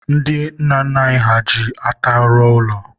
ndị nna nna anyị ha ji ata rụọ ụlọ.